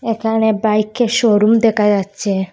এখানে বাইকের শোরুম দেখা যাচ্ছে।